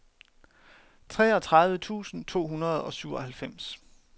treogtredive tusind to hundrede og syvoghalvfems